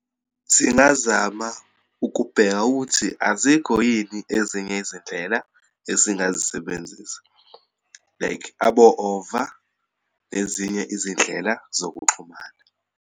Singazama ukubheka ukuthi azikho yini ezinye izindlela esingazisebenzisa, like abo-over, nezinye izindlela zokuxhumana.